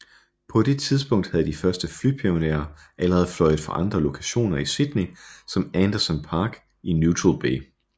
På det tidspunkt havde de første flypionerer allerede fløjet fra andre lokationer i Sydney som Anderson Park i Neutral Bay